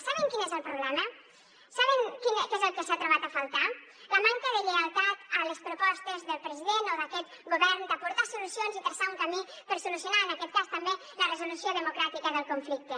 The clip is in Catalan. saben quin és el problema saben què és el que s’ha trobat a faltar la manca de lleialtat a les propostes del president o d’aquest govern d’aportar solucions i traçar un camí per solucionar en aquest cas també la resolució democràtica del conflicte